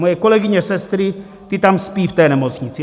Moje kolegyně sestry, ty tam spí v té nemocnici.